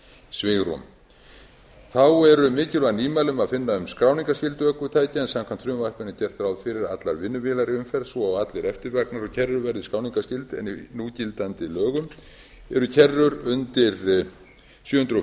svigrúm þá er mikilvæg nýmæli að finna um skráningarskyldu ökutækja en samkvæmt frumvarpinu er gert ráð fyrir að allar vinnuvélar í umferð svo og allir eftirvagnar og kerrur verði skráningarskyld en í núgildandi lögum eru kerrur undir sjö hundruð